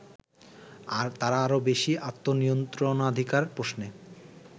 তারা আরো বেশি আত্মনিয়ন্ত্রণাধিকার প্রশ্নে